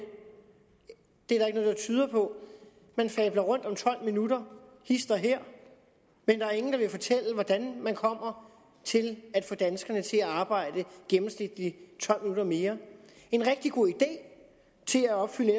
det er noget der tyder på man fabler om tolv minutter hist og her men der er ingen der vil fortælle hvordan man kommer til at få danskerne til at arbejde gennemsnitligt tolv minutter mere en rigtig god idé til at opfylde